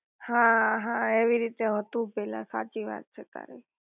હા હા એવી રીતે હતું પેલા સાચી વાત છે તારી